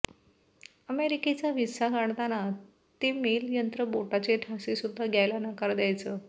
अमेरिकेचा व्हिसा काढताना ते मेलं यंत्र बोटांचे ठसेसुद्धा घ्यायला नकार द्यायचं